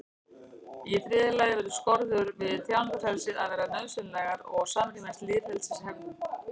í þriðja lagi verða skorður við tjáningarfrelsi að vera nauðsynlegar og samrýmast lýðræðishefðum